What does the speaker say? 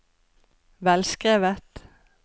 velskrevet